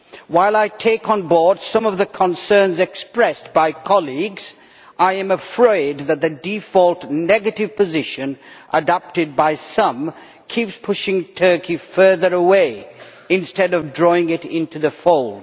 While I take on board some of the concerns expressed by colleagues, I am afraid that the default negative position adopted by some keeps pushing Turkey further away instead of drawing it into the fold.